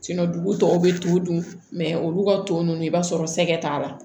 dugu tɔw bɛ t'o dun olu ka ton nunnu i b'a sɔrɔ sɛgɛ t'a la